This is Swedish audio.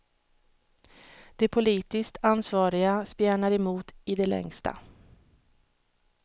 De politiskt ansvariga spjärnar emot i det längsta.